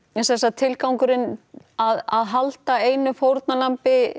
tilgangurinn að halda einu fórnarlambi